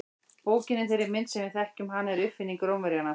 Bókin í þeirri mynd sem við þekkjum hana er uppfinning Rómverjanna.